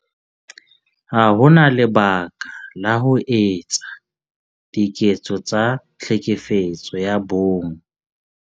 Ha ho na lebaka la ho etsa diketso tsa Tlhekefetso ya Bong.